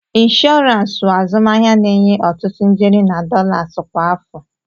Inshọransi wụ azụmahịa na-enye ọtụtụ ijeri na dọlas kwa afọ.